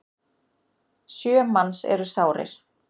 Sjö manns eru sárir.